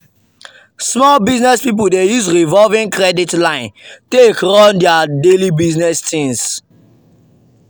small business people dey use revolving credit line take run their daily business things.